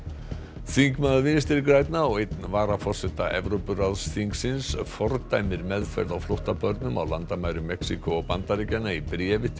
þingmaður Vinstri grænna og einn varaforseta Evrópuráðsþingsins fordæmir meðferð á flóttabörnum á landamærum Mexíkó og Bandaríkjanna í bréfi til